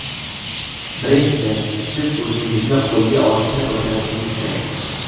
Birinchidan , siz o‘zingizni qo‘lga olishni o‘rganishingiz kerak.